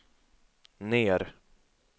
ner